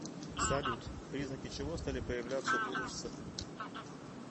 салют признаки чего стали появляться у руссо